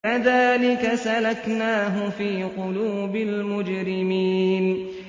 كَذَٰلِكَ سَلَكْنَاهُ فِي قُلُوبِ الْمُجْرِمِينَ